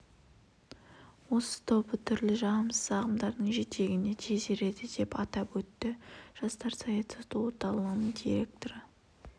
осы тобы түрлі жағымсыз ағымдардың жетегіне тез ереді деп атап өтті жастар саясаты орталығының директоры